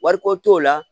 Wariko t'o la